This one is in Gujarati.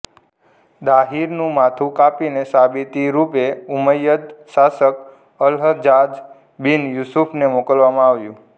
દાહીરનું માથું કાપીને સાબિતી રૂપે ઉમ્મયદ શાસક અલહજ્જાજ બિન યુસુફને મોકલવામાં આવ્યું હતું